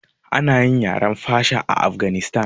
Ana yi yaren fasha a afganistan